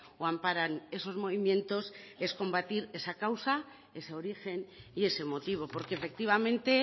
o amparan esos movimientos es combatir esa causa ese origen y ese motivo porque efectivamente